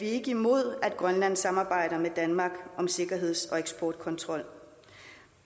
er imod at grønland samarbejder med danmark om sikkerheds og eksportkontrol